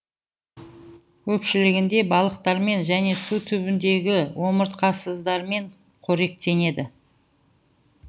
көпшілігінде балықтармен және су түбіндегі омыртқасыздармен қоректенеді